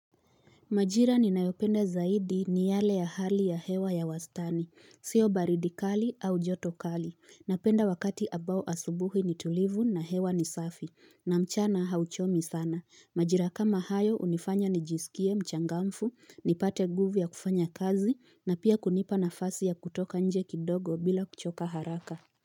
Majira ninayopenda zaidi ni yale ya hali ya hewa ya wastani. Sio baridi kali au joto kali. Napenda wakati ambao asubuhi ni tulivu na hewa ni safi. Na mchana hauchomi sana. Majira kama hayo hunifanya nijisikie mchangamfu, nipate nguvu ya kufanya kazi na pia kunipa nafasi ya kutoka nje kidogo bila kuchoka haraka.